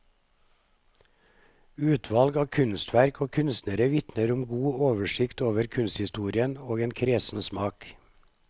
Utvalg av kunstverk og kunstnere vitner om god oversikt over kunsthistorien og en kresen smak.